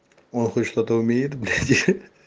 он хоть что-то умеет блять